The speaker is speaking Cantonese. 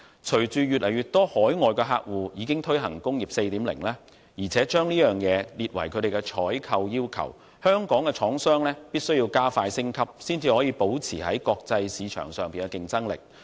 隨着越來越多海外客戶已推行"工業 4.0"， 並將之列入採購要求，香港的廠商必須加快升級，才能保持在國際市場上的競爭力。